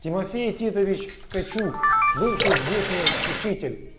тимофей титович ткачук бывший здешний учитель